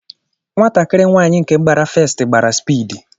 Nwatakịrị nwaanyị nke gbara festi, gbara spiidi.